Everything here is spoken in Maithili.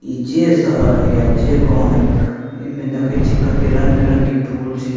इ जे शहर है अ जे गांव है एने देखई छी की कते रंग-बिरंग के फूल छे।